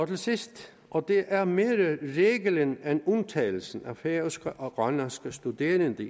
til sidst og det er mere reglen end undtagelsen har færøske og grønlandske studerende i